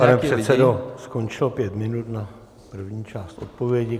Pane předsedo, skončilo pět minut na první část odpovědi.